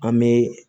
An bɛ